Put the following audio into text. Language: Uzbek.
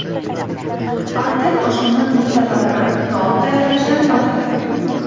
Artel oshxona plitalari bilan taom tayyorlashdan rohatlaning.